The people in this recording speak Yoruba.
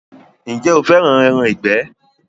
Ǹjẹ́ o fẹ́ràn “ẹran ìgbẹ̀”.